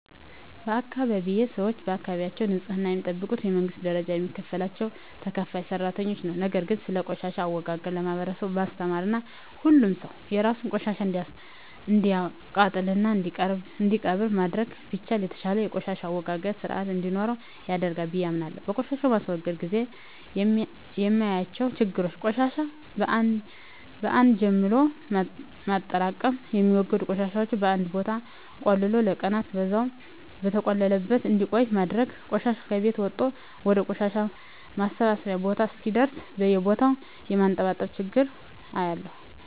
በአካባቢየ ሰወች የአካባቢያቸውን ንጽህና የሚጠብቁት በመንግስት ደረጃ የሚከፈላቸው ተከፋይ ሰራተኞች ነው። ነገር ግን ስለቆሻሻ አወጋገድ ለማህበረሰቡ ማስተማርና ሁሉም ሰው የራሱን ቆሻሻ እንዲያቃጥልና እንዲቀብር ማድረግ ቢቻል የተሻለ የቆሻሻ አወጋገድ ስርአት እንዲኖረን ያደርጋል ብየ አምናለሁ። በቆሻሻ ማስወገድ ግዜ የማያቸው ችግሮች ቆሻሻን በአን ጀምሎ ማጠራቅም፣ የሚወገዱ ቆሻሻወችን በአንድ ቦታ ቆልሎ ለቀናን በዛው በተቆለለበት እንዲቆይ ማድረግና ቆሻሻ ከቤት ወጦ ወደ ቆሻሻ ማሰባሰቢያ ቦታ እስከሚደርስ በየቦታው የማንጠባጠብ ችግር አያለሁ።